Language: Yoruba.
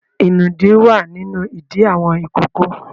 Ìnùdí wà nínú ìdí àwọn ìkókó.